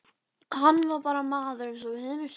Hann var bara maður eins og við hinir.